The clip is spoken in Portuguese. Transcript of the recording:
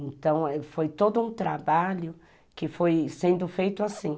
Então, foi todo um trabalho que foi sendo feito assim.